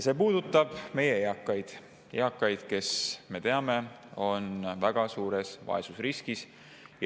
See puudutab meie eakaid, kes, me teame, on väga suures vaesusriskis.